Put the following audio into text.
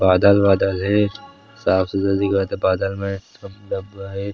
बादल वादल हे साफ़-सुथरा दिखत हे बादल मन --